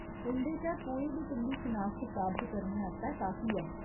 उं'दे चा कोई बी तुं'दी शनाखत साबत करने आस्तै काफी ऐ।